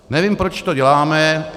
Nevím, proč to děláme.